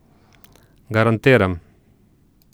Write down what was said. Garantiram.